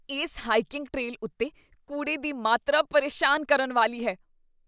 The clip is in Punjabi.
ਇਸ ਹਾਈਕੀੰਗ ਟਰੇਲ ਉੱਤੇ ਕੂੜੇ ਦੀ ਮਾਤਰਾ ਪਰੇਸ਼ਾਨ ਕਰਨ ਵਾਲੀ ਹੈ।